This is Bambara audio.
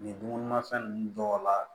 Nin dumunimafɛn ninnu dɔw la